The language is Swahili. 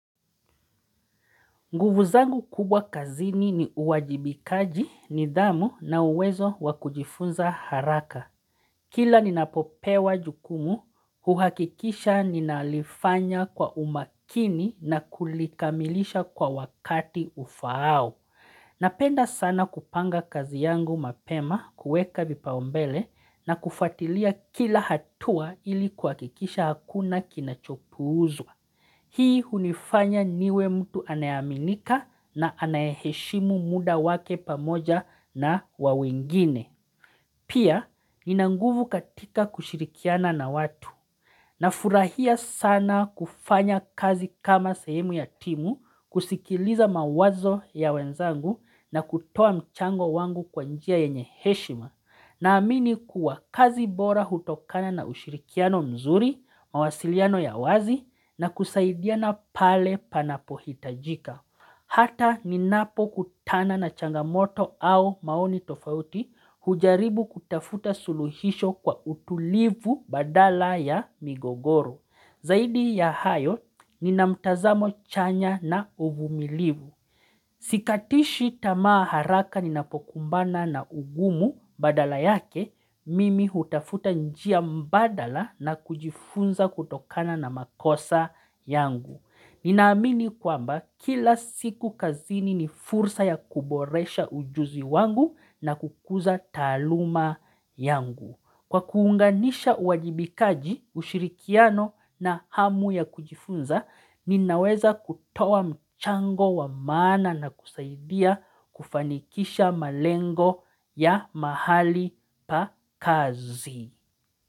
Nguvu zangu kubwa kazini ni uwajibikaji, nidhamu na uwezo wakujifunza haraka. Kila ninapopewa jukumu, huhakikisha ninalifanya kwa umakini na kulikamilisha kwa wakati ufaao. Napenda sana kupanga kazi yangu mapema kuweka vipaumbele na kufatilia kila hatua ilikuakikisha hakuna kinachopuuzwa. Hii hunifanya niwe mtu anayaminika na anayeshimu muda wake pamoja na wawengine. Pia ninanguvu katika kushirikiana na watu. Nafurahia sana kufanya kazi kama sehemu ya timu, kusikiliza mawazo ya wenzangu na kutoa mchango wangu kwa njia yenye heshima na amini kuwa kazi bora hutokana na ushirikiano mzuri, mawasiliano ya wazi na kusaidiana pale panapo hitajika Hata ninapo kutana na changamoto au maoni tofauti hujaribu kutafuta suluhisho kwa utulivu badala ya migogoro. Zaidi ya hayo nina mtazamo chanya na uvumilivu. Sikatishi tamaa haraka ninapokumbana na ugumu badala yake, mimi hutafuta njia mbadala na kujifunza kutokana na makosa yangu. Ninaamini kwamba kila siku kazini ni fursa ya kuboresha ujuzi wangu na kukuza taluma yangu. Kwa kuunganisha uwajibikaji ushirikiano na hamu ya kujifunza, ninaweza kutoa mchango wa maana na kusaidia kufanikisha malengo ya mahali pa kazi.